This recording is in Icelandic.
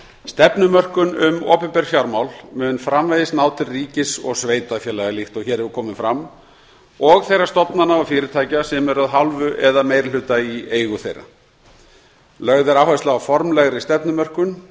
stefnumörkun um opinber fjármál mun framvegis ná til ríkis og sveitarfélaga líkt og hér hefur komið fram og þeirra stofnana og fyrirtækja sem eru að hálfu eða meiri hluta í eigu þeirra lögð er áhersla á formlegri stefnumörkun